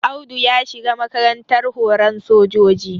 Audu ya shiga makarantar horan sojoji